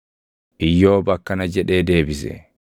Iyyoob akkana jedhee deebise: